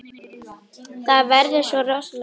Það verða svo rosaleg læti.